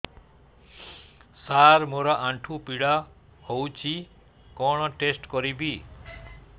ସାର ମୋର ଆଣ୍ଠୁ ପୀଡା ହଉଚି କଣ ଟେଷ୍ଟ କରିବି